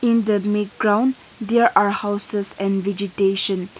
in the mid ground there are houses and vegetation.